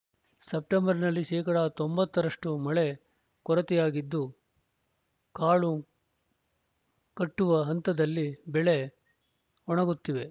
ಸೆಪ್ಟಂಬರ್‌ನಲ್ಲಿ ಶೇಕಡಾ ತೊಂಬತ್ತ ರಷ್ಟುಮಳೆ ಕೊರತೆಯಾಗಿದ್ದು ಕಾಳು ಕಟ್ಟುವ ಹಂತದಲ್ಲಿ ಬೆಳೆ ಒಣಗುತ್ತಿವೆ